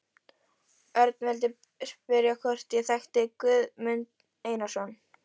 Örn vildi spyrja hvort ég þekkti Guðmund Einarsson.